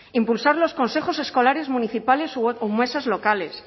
impulsar los consejos escolares municipales o mesas locales